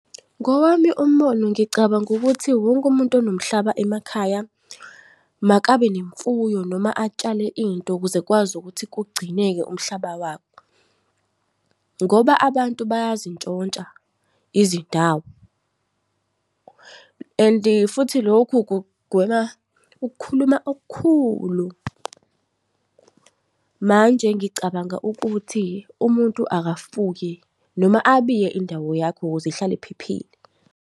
Ngowami umbono ngicabanga ukuthi wonke umuntu onomhlaba emakhaya makabe nemfuyo noma atshale into ukuze kukwazi ukuthi kugcineke umhlaba wabo. Ngoba abantu bayazintshontsha izindawo and futhi lokhu kugwema ukukhuluma okukhulu. Manje ngicabanga ukuthi umuntu akafuye noma abiye indawo yakhe ukuze ihlale iphephile.